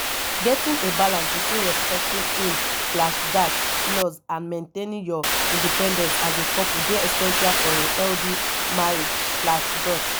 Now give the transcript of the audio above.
getting a balance between respecting in slash dash laws and maintaining your independence as a couple dey essential for a healthy marriage slash dot